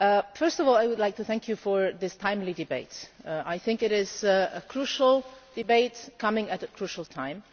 First of all, I would like to thank you for this timely debate. I think it is a crucial debate coming at a crucial time.